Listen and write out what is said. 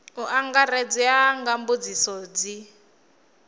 u angaredza nga mbudziso dzi